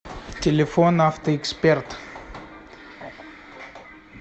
телефон авто эксперт